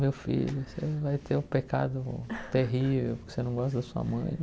Meu filho, você vai ter um pecado terrível porque você não gosta da sua mãe.